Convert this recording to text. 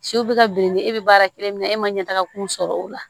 Siw bɛ ka bilenni e bɛ baara kelen min na e ma ɲɛtaga kun sɔrɔ o la